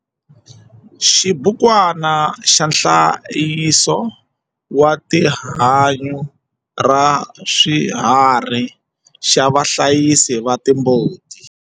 Xibukwana xa nhlayiso wa tihanyo ra swiharhi xa vahlayisi va timbuti.